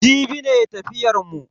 Jibi ne tafiyar mu.